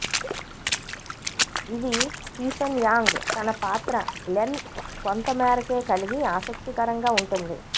ఇది Stephen Yang తన పాత్ర గ్లెన్ కొంత మేరకే కలిగి ఆసక్తికరంగా ఉంటుంది